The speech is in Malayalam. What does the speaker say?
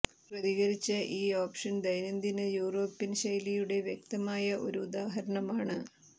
പ്രതികരിച്ച ഈ ഓപ്ഷൻ ദൈനംദിന യൂറോപ്യൻ ശൈലിയുടെ വ്യക്തമായ ഒരു ഉദാഹരണമാണ്